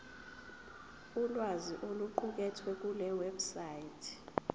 ulwazi oluqukethwe kulewebsite